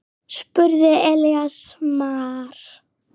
spurði Elías Mar.